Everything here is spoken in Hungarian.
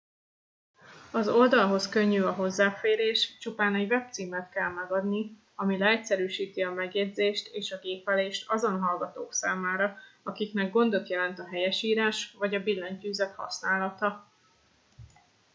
az oldalhoz könnyű a hozzáférés csupán egy webcímet kell megadni ami leegyszerűsíti a megjegyzést és a gépelést azon hallgatók számára akiknek gondot jelent a helyesírás vagy a billentyűzet használata